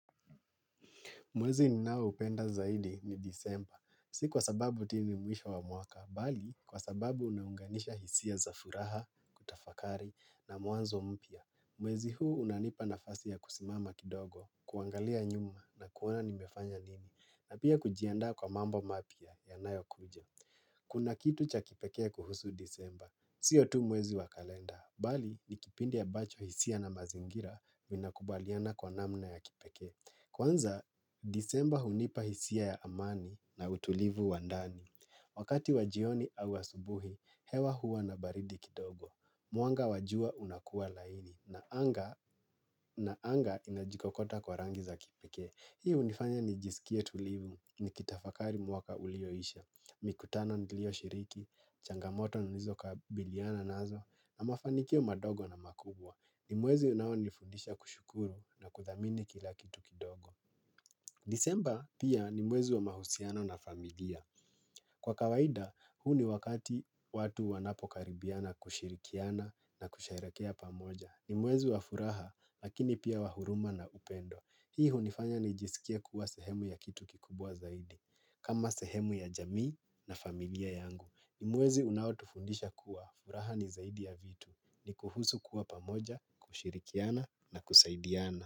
Mwezi ninaoupenda zaidi ni Disemba. Si kwa sababu ati hii ni mwisho wa mwaka, bali kwa sababu unaunganisha hisia za furaha, kutafakari na muanzo mpya. Mwezi huu unanipa nafasi ya kusimama kidogo, kuangalia nyuma na kuona nimefanya nini. Na pia kujiandaa kwa mambo mapya yanayokuja. Kuna kitu cha kipekee kuhusu Disemba. Sio tu mwezi wa kalenda, bali ni kipindi ambacho hisia na mazingira inakubaliana kwa namna ya kipekee. Kwanza, Disemba hunipa hisia ya amani na utulivu wa ndani. Wakati wajioni au asubuhi, hewa huwa na baridi kidogo. Mwanga wa Jua unakua laini na anga na anga inajikokota kwa rangi za kipikee. Hio hunifanya nijisikie tulivu, nikitafakari mwaka ulioisha. Mikutano nilioshiriki, changamoto nilizokabiliana nazo na mafanikio madogo na makubwa. Nimwezi unaonifundisha kushukuru na kudhamini kila kitu kidogo. Disemba pia ni mwezi wa mahusiano na familia. Kwa kawaida, huu ni wakati watu wanapokaribiana kushirikiana na kusheherekea pamoja. Nimwezi wa furaha, lakini pia wahuruma na upendo. Hii hunifanya nijisikia kuwa sehemu ya kitu kikubwa zaidi. Kama sehemu ya jamii na familia yangu. Ni mwezi unaotufundisha kuwa furaha ni zaidi ya vitu. Ni kuhusu kuwa pamoja, kushirikiana na kusaidiana.